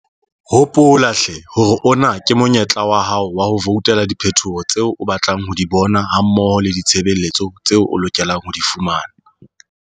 Hopola hle hore ona ke monyetla wa hao wa ho voutela diphetoho tseo o batlang ho di bona hammoho le ditshebeletso tseo o lokelang ho di fumana.